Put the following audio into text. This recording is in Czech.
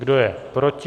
Kdo je proti?